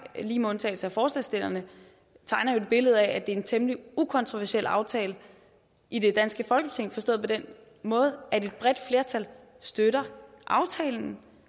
lige med undtagelse af forslagsstillerne tegner jo et billede af at det er en temmelig ukontroversiel aftale i det danske folketing forstået på den måde at et bredt flertal støtter aftalen